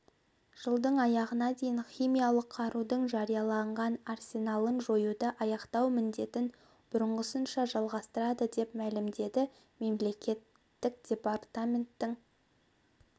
жылдың аяғына дейін химиялық қарудың жарияланған арсеналын жоюды аяқтау міндетін бұрынғысынша жалғастырады деп мәлімдеді мемлекеттік департаментінің